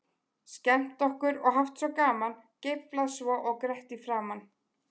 Skemmt okkur og haft svo gaman, geiflað svo og grett í framan.